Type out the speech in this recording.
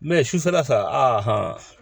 sufɛla fɛ